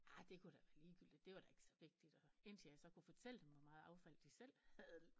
Arrr det kunne da være ligegyldigt det var da ikke så vigtigt og indtil jeg så kunne fortælle dem hvor meget affald de selv havde